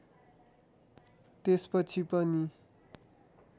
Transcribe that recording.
त्यसपछि पनि